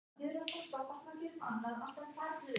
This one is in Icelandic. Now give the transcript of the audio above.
Lúsía, ég kom með fimmtíu húfur!